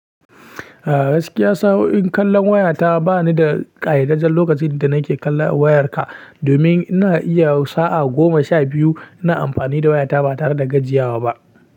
Eh gaskiya sau in kallon wayata ba ni da ƙayyadadden lokacin da nake kallon wayata domin ina iya sa'a goma sha biyu ina amfani da wayata ba tare da gajiya ba.